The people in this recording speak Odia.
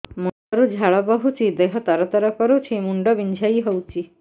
ମୁଣ୍ଡ ରୁ ଝାଳ ବହୁଛି ଦେହ ତର ତର କରୁଛି ମୁଣ୍ଡ ବିଞ୍ଛାଇ ହଉଛି